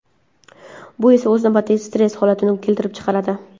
Bu esa o‘z navbatida stress holatini keltirib chiqaradi.